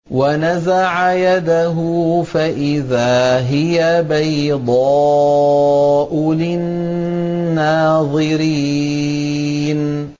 وَنَزَعَ يَدَهُ فَإِذَا هِيَ بَيْضَاءُ لِلنَّاظِرِينَ